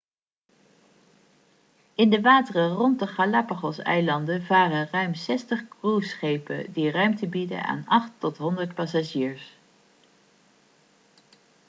in de wateren rond de galapagoseilanden varen ruim 60 cruiseschepen die ruimte bieden aan 8 tot 100 passagiers